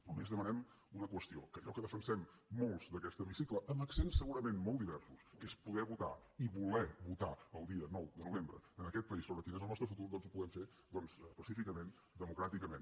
només demanem una qüestió que allò que defensem molts d’aquest hemicicle amb accents segurament molt diversos que és poder votar i voler votar el dia nou de novembre en aquest país sobre quin és el nostre futur doncs ho puguem fer pacíficament democràticament